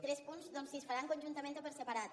tres punts doncs si es faran conjuntament o per separat